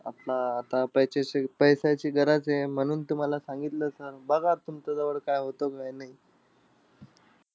आता आता पैसाची पैशाची गरज आहे. म्हणून तुम्हाला सांगतलं sir. बघा तुमच्याजवळ काय होतं काय नाई.